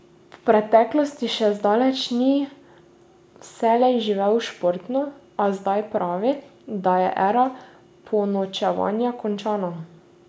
V preteklosti še zdaleč ni vselej živel športno, a zdaj pravi, da je era ponočevanja končana.